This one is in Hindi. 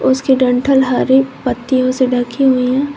उसके डंठल हरे पत्तियों से ढकी हुई हैं।